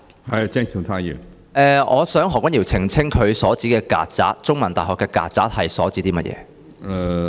我想何君堯議員澄清他提到香港中文大學的曱甴所指為何？